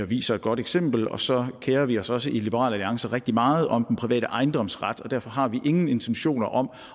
viser et godt eksempel og så kerer vi os også i liberal alliance rigtig meget om den private ejendomsret derfor har vi ingen intentioner om